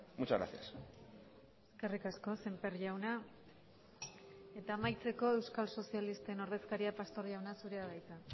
muchas gracias eskerrik asko sémper jauna eta amaitzeko euskal sozialisten ordezkaria pastor jauna zurea da hitza